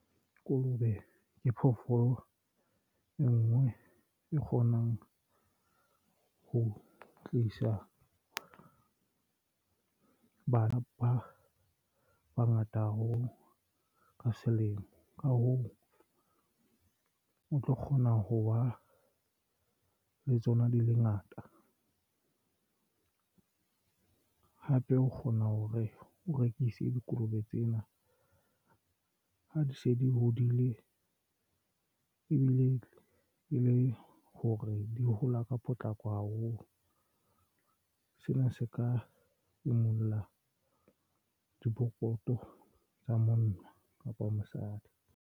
Kolobe ke phoofolo e nngwe e kgonang ho tlisa bana ba bangata haholo ka selemo ka hoo o tlo kgona ho wa le tsona di le ngata hape o kgona ho re o rekise. Dikolobe tsena ha di se di hodile ebile e le hore di hola ka potlako haholo. Sena se ka imulla dipokoto tsa monna kapa mosadi.